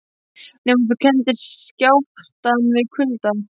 Nema þú kenndir skjálftann við kulda.